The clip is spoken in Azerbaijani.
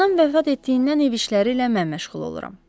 Anam vəfat etdiyindən ev işləri ilə mən məşğul oluram.